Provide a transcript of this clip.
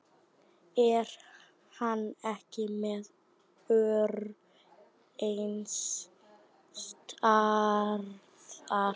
Er hann ekki með ör neins staðar?